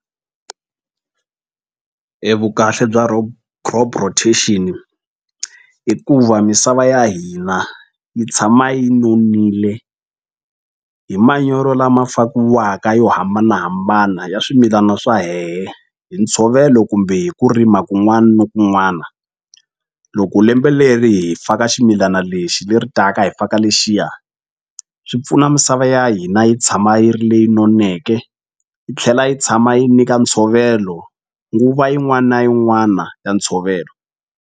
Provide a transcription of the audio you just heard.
E vukahle bya crop rotation i ku va misava ya hina yi tshama yi nonile hi manyoro lama fakiwaka yo hambanahambana ya swimilana swa hehe hi ntshovelo kumbe hi ku rima kun'wani ni kun'wana loko lembe leri hi faka ximilana lexi leri taka hi faka lexiya swi pfuna misava ya hina yi tshama yi ri leyi noneke yi tlhela yi tshama yi nyika ntshovelo nguva yin'wani na yin'wana ya ntshovelo.